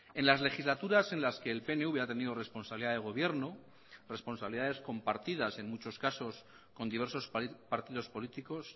en las legislaturas en las que el pnv ha tenido responsabilidad de gobierno responsabilidades compartidas en muchos casos con diversos partidos políticos